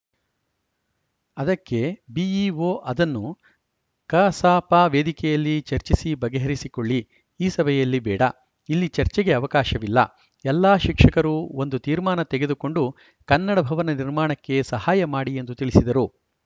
ಅದಕ್ಕೆ ಬಿಇಒ ಅದನ್ನು ಕಸಾಪ ವೇದಿಕೆಯಲ್ಲಿ ಚರ್ಚಿಸಿ ಬಗೆಹರಿಸಿಕೊಳ್ಳಿ ಈ ಸಭೆಯಲ್ಲಿ ಬೇಡ ಇಲ್ಲಿ ಚರ್ಚೆಗೆ ಅವಕಾಶವಿಲ್ಲ ಎಲ್ಲಾ ಶಿಕ್ಷಕರು ಒಂದು ತೀರ್ಮಾನ ತೆಗೆದುಕೊಂಡು ಕನ್ನಡ ಭವನ ನಿರ್ಮಾಣಕ್ಕೆ ಸಹಾಯ ಮಾಡಿ ಎಂದು ತಿಳಿಸಿದರು